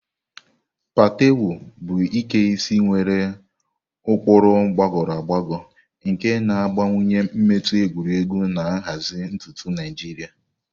Patewo bụ Ike isi nwere ụkpụrụ gbagoro agbago nke na-agbakwunye mmetụ egwuregwu na nhazi ntutu Naijiria.